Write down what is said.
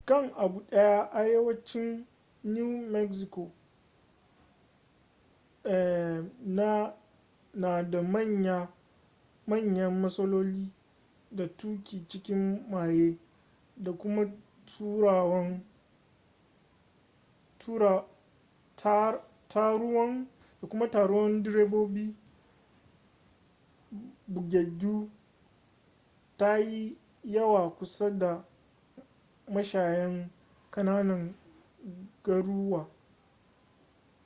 kan abu daya arewacin new mexico na da manya matsaloli da tuki cikin maye da kuma taruwan direbobi bugaggu ta yi yawwa kusa da mashayan kananan garuwa